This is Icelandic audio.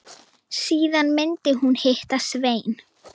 Síðan myndi hún hitta Svein.